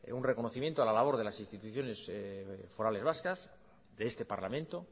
un reconocimiento a la labor de las instituciones forales vascas de este parlamento